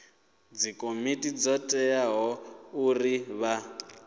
dzikomiti dzo teaho uri vha